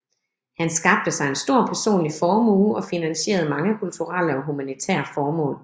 Han skabte sig en stor personlig formue og finansierede mange kulturelle og humanitære formål